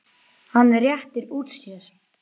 Hann réttir úr sér.